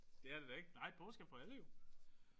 Det er det da ikke. Nej påske er for alle jo